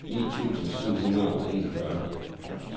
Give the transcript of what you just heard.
ni tusind syv hundrede og enogfyrre